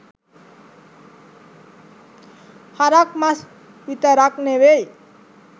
හරක් මස් විතරක් නෙවෙයි